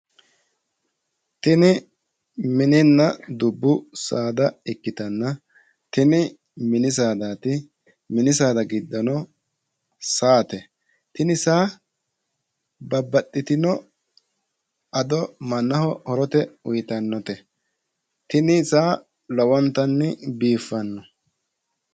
Tini mininna dubbu saada ikitanna, tini mini saadaati. Mini saada giddono saate. Tini saa babbaxitino ado mannaho horote uuyitannote. Tini saa lowontanni biiffanno.